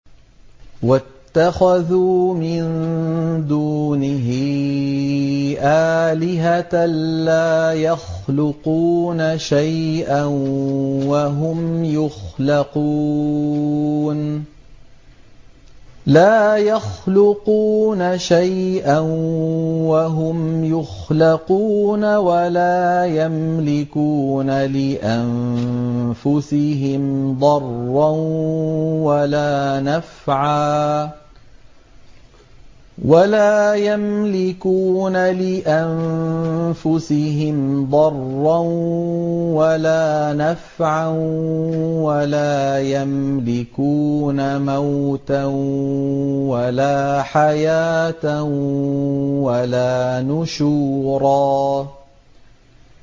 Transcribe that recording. وَاتَّخَذُوا مِن دُونِهِ آلِهَةً لَّا يَخْلُقُونَ شَيْئًا وَهُمْ يُخْلَقُونَ وَلَا يَمْلِكُونَ لِأَنفُسِهِمْ ضَرًّا وَلَا نَفْعًا وَلَا يَمْلِكُونَ مَوْتًا وَلَا حَيَاةً وَلَا نُشُورًا